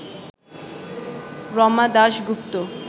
Rama Dasgupta